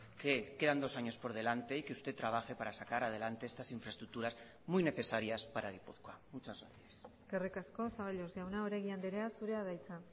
que quedan dos años por delante y que usted trabaje para sacar adelante estas infraestructuras muy necesarias para gipuzkoa muchas gracias eskerrik asko zaballos jauna oregi andrea zurea da hitza